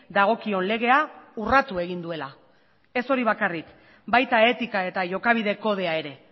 dagokion legea urratu egin duela ez hori bakarrik baita etika eta jokabide kodea ere